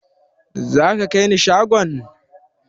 Za ka kaini shagon?